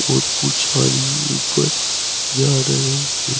और कुछ आदमी ऊपर जा रहे हैं।